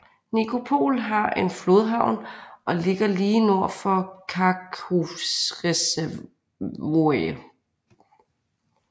Nikopol har en flodhavn og ligger lige nord for Kakhovskereservoiret